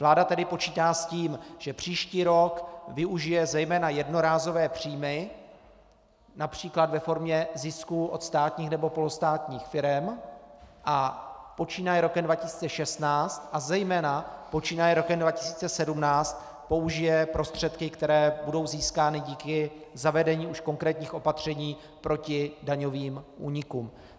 Vláda tedy počítá s tím, že příští rok využije zejména jednorázové příjmy například ve formě zisků od státních nebo polostátních firem, a počínaje rokem 2016 a zejména počínaje rokem 2017 použije prostředky, které budou získány díky zavedení už konkrétních opatření proti daňovým únikům.